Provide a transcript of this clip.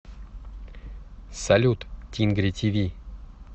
салют тингри ти ви